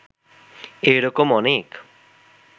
এ-রকম অনেক